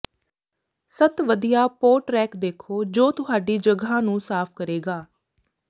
ਸੱਤ ਵਧੀਆ pot rack ਦੇਖੋ ਜੋ ਤੁਹਾਡੀ ਜਗ੍ਹਾ ਨੂੰ ਸਾਫ਼ ਕਰੇਗਾ